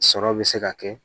Sɔrɔ bɛ se ka kɛ